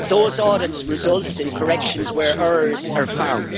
Those audits result in corrections where errors are found.